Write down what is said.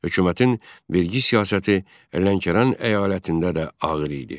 Hökumətin vergi siyasəti Lənkəran əyalətində də ağır idi.